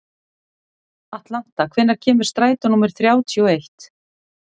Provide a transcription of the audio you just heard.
Atlanta, hvenær kemur strætó númer þrjátíu og eitt?